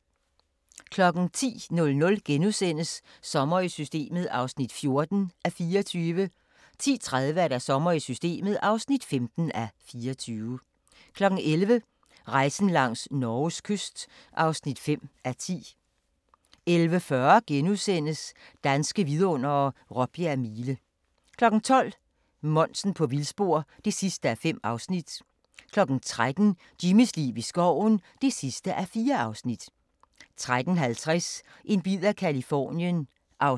10:00: Sommer i Systemet (14:24)* 10:30: Sommer i Systemet (15:24) 11:00: Rejsen langs Norges kyst (5:10) 11:40: Danske Vidundere: Råbjerg Mile * 12:00: Monsen på vildspor (5:5) 13:00: Jimmys liv i skoven (4:4) 13:50: En bid af Californien (7:8)